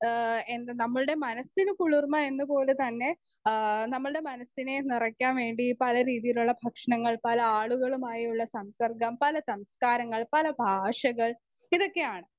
Speaker 1 ഏഹ് എന്ത നമ്മളുടെ മനസ്സിന് കുളിർ എന്ന പോലെ തന്നെ ആ നമ്മളുടെ മനസ്സിനെ നിറക്കാൻ വേണ്ടി പല രീതിയിലുള്ള ഭക്ഷണങ്ങൾ, പല ആളുകളുമായുള്ള സംസർഗം, പല സംസ്കാരങ്ങൾ, പല ഭാഷകൾ ഇതൊക്കെയാണ്.